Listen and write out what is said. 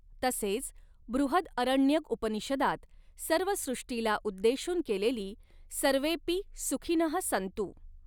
तसेच बृहदअरण्यक उपनीषदात सर्व सृष्टीला उद्देशुन केलेली सर्वेपि सुखिनःसंतु.